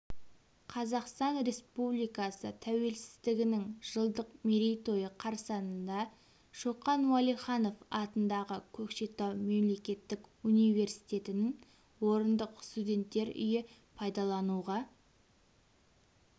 қазақстан республикасы тәуелсіздігінің жылдық мерейтойы қарсаңында шоқан уәлиханов атындағы көкшетау мемлекеттік университетінің орындық студенттер үйі пайдалануға